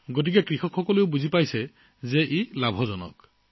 তেতিয়া খেতিয়ক ভাই সকলে বুজি পাইছে যে ইয়াৰ লাভ আছে